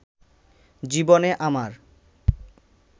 জীবনে আমার